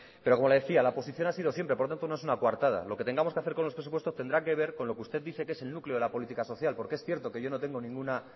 pero como le decía la oposición ha sido siempre por tanto no es una coartada lo que tengamos que hacer con los presupuestos tendrá que ver con lo que usted dice que es el núcleo de la política social porque es cierto que yo no tengo ninguna